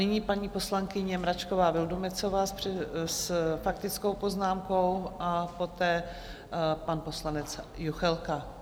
Nyní paní poslankyně Mračková Vildumetzová s faktickou poznámkou a poté pan poslanec Juchelka.